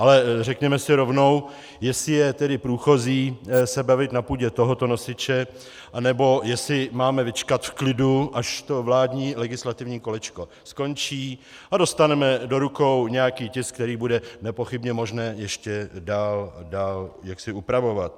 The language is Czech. Ale řekněme si rovnou, jestli je tedy průchozí se bavit na půdě tohoto nosiče, anebo jestli máme vyčkat v klidu, až to vládní legislativní kolečko skončí a dostaneme do rukou nějaký tisk, který bude nepochybně možné ještě dál upravovat.